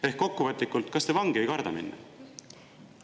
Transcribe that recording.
Ehk kokkuvõtlikult: kas te vangi ei karda minna?